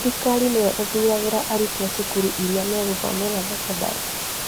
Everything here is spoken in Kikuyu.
Thirikari nĩyo ithuragĩra arutwo cukuru ĩrĩa magũthomera thekondarĩ